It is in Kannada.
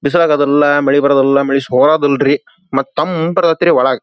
ಬಿಸಲ್ ಅದನ್ನ ಮಳೆ ಮಳೆ ಸೋಭ್ ಇಲ್ಲರೀ ಮತ್ತೆ ತಂಪ ಇರತ್ಯತ್ರಿ ಒಳಗ.